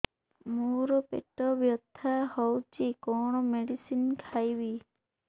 ମୋର ପେଟ ବ୍ୟଥା ହଉଚି କଣ ମେଡିସିନ ଖାଇବି